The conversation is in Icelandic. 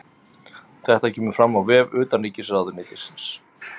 Þetta kemur fram á vef utanríkisráðuneytisins